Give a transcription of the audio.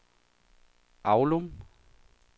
Aulum